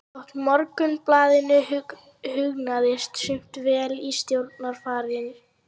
Þótt Morgunblaðinu hugnaðist sumt vel í stjórnarfari